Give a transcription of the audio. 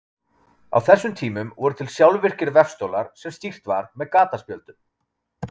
Á þessum tímum voru til sjálfvirkir vefstólar sem stýrt var með gataspjöldum.